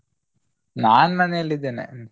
ನಾನ್ ಮನೇಲಿ ಇದ್ದೇನೆ.